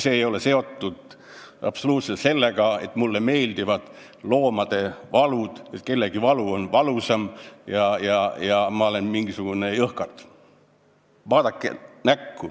See ei ole absoluutselt seotud sellega, nagu mulle meeldiks loomade valu, nagu kellegi valu oleks valusam ja mina oleksin mingisugune jõhkard.